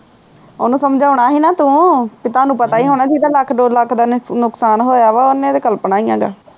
ਉਹਨੂੰ ਸਮਜਾਉਣਾ ਸੀ ਨਾ ਤੂੰ ਕੇ ਤਾਨੂੰ ਪਤਾ ਹੀ ਹੋਣਾ ਵੀ ਏਹਦਾ ਲੱਖ ਦੋ ਲੱਖ ਦਾ ਨੁਕਸਾਨ ਹੋਇਆ ਵਾ ਓਹਨੇ ਤੇ ਕਲਪਣਾ ਈ ਆ